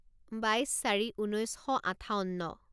বাইছ চাৰি ঊনৈছ শ আঠাৱন্ন